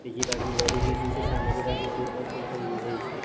બીજી બાજુ લેડીઝ ઉભી છે સામેની બાજુ જે છે.